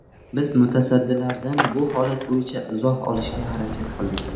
Biz mutasaddilardan bu holat bo‘yicha izoh olishga harakat qildik.